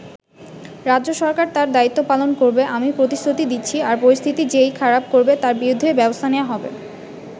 রাজ্য সরকার তার দায়িত্ব পালন করবে আমি প্রতিশ্রুতি দিচ্ছি, আর পরিস্থিতি যে-ই খারাপ করবে তার বিরুদ্ধেই ব্যবস্থা নেওয়া হবে।